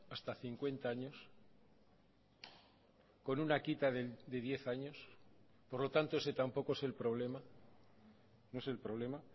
hasta cincuenta años con una quita de diez años por lo tanto ese tampoco es el problema no es el problema